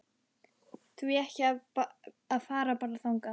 Því ekki að fara bara þangað?